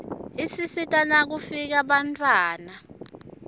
isisita nifkifu ndzila bantfuiana